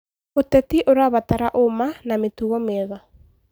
Ũteti ũrabatara ũma na mĩtugo mĩega.